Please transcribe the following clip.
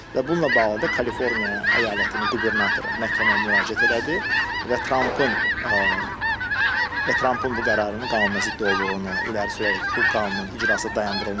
Və bununla bağlı da Kaliforniya əyalətinin qubernatoru məhkəməyə müraciət elədi və Trampın və Trampın bu qərarının qanunazidd olduğunu irəli sürərək bu qanunun icrası dayandırılmışdı.